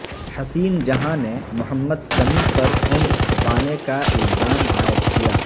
حسین جہاں نے محمد سمیع پر عمر چھپانے کا الزام عائد کیا